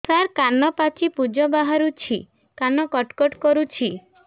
ସାର କାନ ପାଚି ପୂଜ ବାହାରୁଛି କାନ କଟ କଟ କରୁଛି